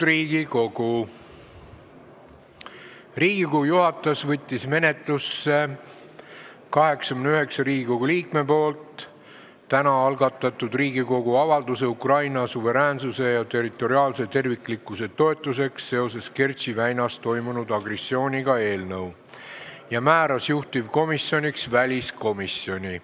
Riigikogu juhatus võttis menetlusse 89 Riigikogu liikme täna algatatud Riigikogu avalduse "Ukraina suveräänsuse ja territoriaalse terviklikkuse toetuseks seoses Kertši väinas toimunud agressiooniga" eelnõu ja määras juhtivkomisjoniks väliskomisjoni.